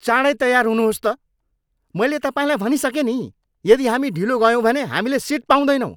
चाँडै तयार हुनुहोस् त! मैले तपाईँलाई भनिसकेँ नि, यदि हामी ढिलो गयौँ भने हामीले सिट पाउँदैनौँ।